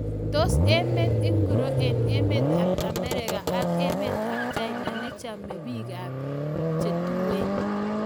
Tos emet ingoro eng emet ab Amerika ak emet ab China nechome emet ab biik che tuen?